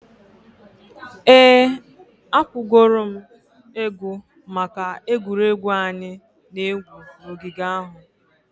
Ee, akwụgoro m ego maka egwuregwu anyị na-egwu n'ogige ahụ.